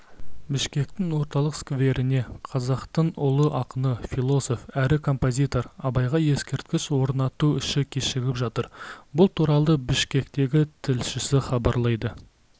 бішкектің орталық скверіне қазақтың ұлы ақыны философ әрі композитор абайға ескерткіш орнату ісі кешігіп жатыр бұл туралы бішкектегі тілшісі хабарлайды